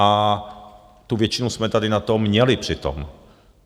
A tu většinu jsme tady na to měli přitom.